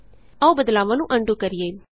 ਆਉ ਬਦਲਾਵਾਂ ਨੂੰ ਅਨਡੂ ਕਰੀਏ